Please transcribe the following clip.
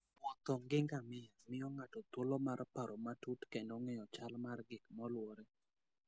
Wuotho gi ngamia miyo ng'ato thuolo mar paro matut kendo ng'eyo chal mar gik molwore.